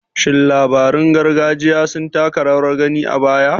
Shin labarun gargajiya sun taka rawar gani a baya?